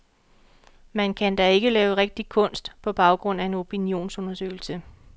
Man kan da ikke lave rigtig kunst på baggrund af en opinionsundersøgelse.